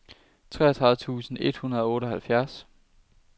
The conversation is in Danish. treogtredive tusind et hundrede og otteoghalvfjerds